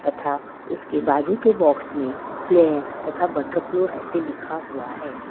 तथा उसके बाजू के बॉक्स में प्लेयर तथा बटरफ्लो ऐसे लिखा हुआ है।